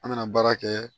An bɛna baara kɛ